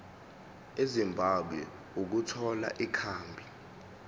ezimbabwe ukuthola ikhambi